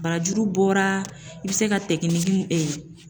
Barajuru bɔra i bɛ se ka